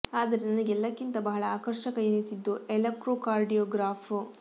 ಆದರೆ ನನಗೆ ಎಲ್ಲಕ್ಕಿಂತ ಬಹಳ ಆಕರ್ಷಕ ಎನಿಸಿದ್ದು ಎಲೆಕ್ಟ್ರೋ ಕಾರ್ಡಿಯೋ ಗ್ರಾಫ್